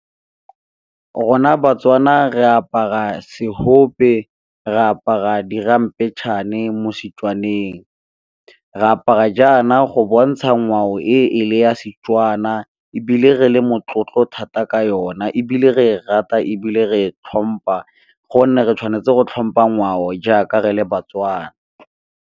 Rona baTswana re apara seope, re apara di ramphetšhane mo setswaneng, re apara jaana go bontsha ngwao e e le ya Setswana ebile re le motlotlo thata ka yona ebile re rata ebile re tlhompa gonne re tshwanetse go tlhompha ngwao jaaka re le baTswana.